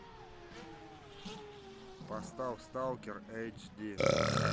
поставь сталкер эйч ди